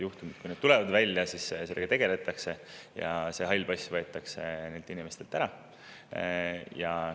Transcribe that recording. Juhul, kui see tuleb välja, siis sellega tegeletakse ja hall pass võetakse inimeselt ära.